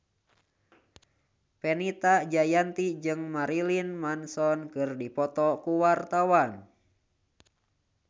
Fenita Jayanti jeung Marilyn Manson keur dipoto ku wartawan